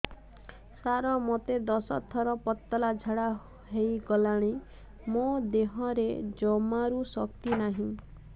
ସାର ମୋତେ ଦଶ ଥର ପତଳା ଝାଡା ହେଇଗଲାଣି ମୋ ଦେହରେ ଜମାରୁ ଶକ୍ତି ନାହିଁ